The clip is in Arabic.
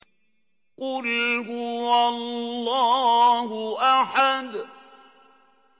قُلْ هُوَ اللَّهُ أَحَدٌ